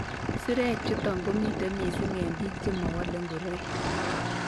Sirek chutok komite mising eng' biik chemowole ngoroik